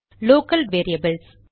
local variables